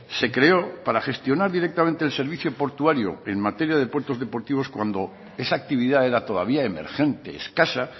se creó para gestionar directamente el servicio portuario en materia de puertos deportivos cuando esa actividad era todavía emergente escasa